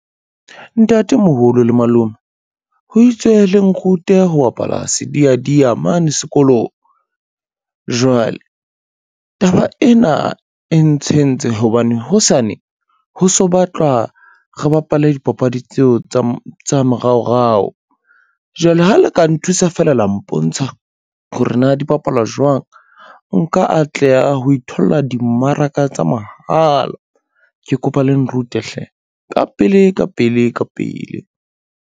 Ntatemoholo le malome, ho itswe le nrute ho bapala sediadia mane sekolo. Jwale taba ena e ntshentse hobane hosane ho so batlwa, re bapale dipapadi tseo tsa moraorao, jwale ha le ka nthusa fela la mpontsha hore na di bapalwa jwang, nka atleha ho itholla dimmaraka tsa mahala. Ke kopa le nrute hle ka pele ka pele ka pele.